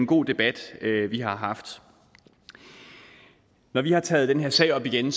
god debat vi har haft når vi har taget den her sag op igen